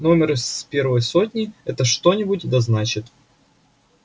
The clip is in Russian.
номер из первой сотни это что-нибудь да значит